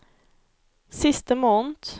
siste måned